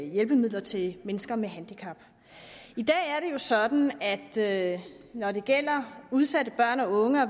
hjælpemidler til mennesker med handicap i dag er det jo sådan at at når det gælder udsatte børn og unge og